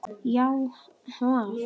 Já, hvað?